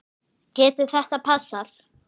Getur þetta passað?